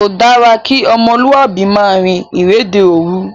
Kò dára kí ọmọlúàbí máa rin ìrìnde òòru